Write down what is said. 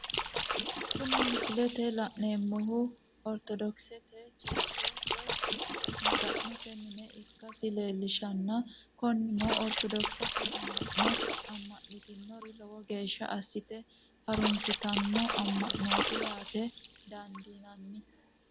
Kuni misilete la'neemohu, oritodokisete cheriche woyi maga'note mine ikkasi leellishanno, koninino oritodokisete ama'no ama'nitinori lowo geesha asite harunsitano ama'noti yaate dandinanni